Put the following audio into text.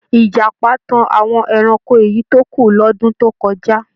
Ìjàpá tan àwọn ẹranko èyí tó kù lọ́dún tó kọjá.